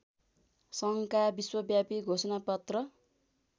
सङ्घका विश्वव्यापी घोषणापत्र